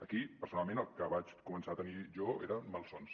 aquí personalment el que vaig començar a tenir jo eren malsons